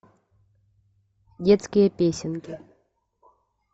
детские песенки